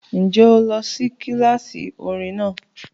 Ǹjẹ́ o lọ sí kíláàsì orin náà?